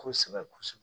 Kosɛbɛ kosɛbɛ